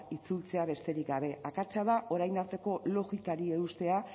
itzultzea besterik gabe akatsa da orain arteko logikari eustea